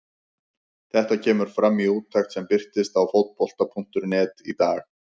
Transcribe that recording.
Þetta kemur fram í úttekt sem birtist á Fótbolta.net í dag.